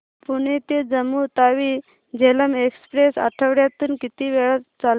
पुणे ते जम्मू तावी झेलम एक्स्प्रेस आठवड्यातून किती वेळा चालते